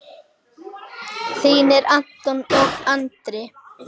Þínir Anton og Andri.